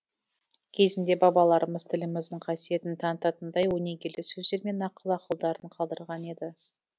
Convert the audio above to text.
кезінде бабаларымыз тіліміздің қасиетін танытатындай өнегелі сөздері мен нақыл ақылдарын қалдырған еді